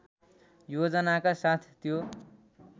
योजनाका साथ त्यो